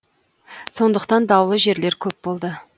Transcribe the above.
сондықтан даулы жерлер көп болды